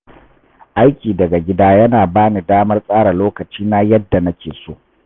Aiki daga gida yana ba ni damar tsara lokacina yadda nake so.